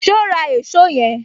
So ra èsó yen